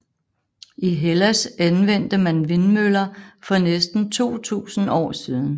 I Hellas anvendte man vindmøller for næsten 2000 år siden